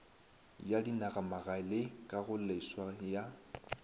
ya dinagamagae le kagoleswa ya